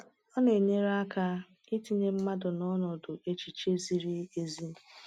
Ọ na-enyere aka itinye mmadụ n’ọnọdụ echiche ziri ezi.